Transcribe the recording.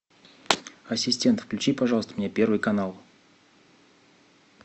ассистент включи пожалуйста мне первый канал